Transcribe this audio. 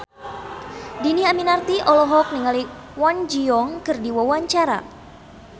Dhini Aminarti olohok ningali Kwon Ji Yong keur diwawancara